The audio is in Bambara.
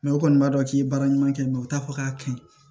u kɔni b'a dɔn k'i ye baara ɲuman kɛ u t'a fɔ k'a ka ɲi